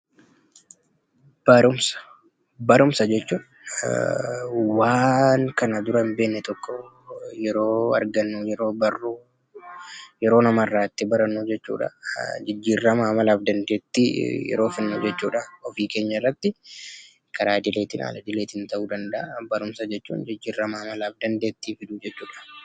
Barumsa. Barumsa jechuun waan kana dura hin beekne tokko yeroo argannu, yeroo barru, yeroo namarraa itti barannu jechuu dha. Jijjiirama amalaa fi dandeettii yeroo fidnu jechuu dha ofii keenya irratti. Karaa idileetiin, al-idileetiin ta'uu danda'a. Barumsa jechuun jijjiirama amalaa fi dandeettii fiduu jechuu dha.